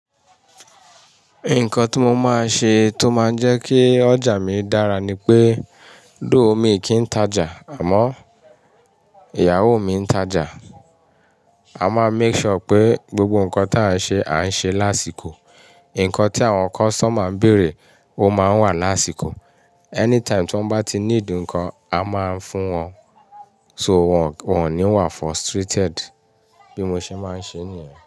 Nǹkan tí mo máa ṣe tó máa ń jẹ́ kí ọjà mi dára ni pé, though mí kíń tajà, àmọ́ ìyàwó mi ń tajà. A máa make sure pé gbogbo nǹkan tí a ń ṣe, a ń ṣe lásìkò. Ǹkan tí àwọn customer ń bèrè ó máa ń wà lásìkò. Anytime tí wọ́n bá ti need ǹkan, a máa ń fún wọn. So wọ́n, wọ́n ò ní wà frustrated bí mo ṣe máa ń ṣe níyẹn.